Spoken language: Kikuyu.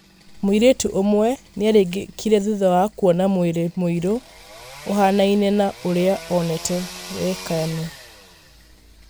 Mũirĩtu ũmwe nĩaringĩkire thutha wa kuona mwĩrĩ mũirũ, ũhanaine na ũrĩa onete Wekanĩ.